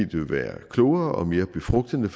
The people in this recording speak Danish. det vil være klogere og mere befrugtende med